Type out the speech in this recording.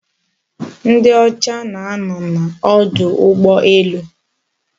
Ndiocha na-ano n'odu ugboelu